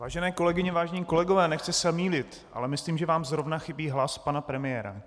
Vážené kolegyně, vážení kolegové, nechci se mýlit, ale myslím, že vám zrovna chybí hlas pana premiéra.